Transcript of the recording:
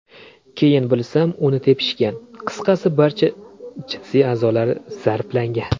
Keyin bilsam, uni tepishgan, qisqasi barcha jinsiy a’zolari zarblangan.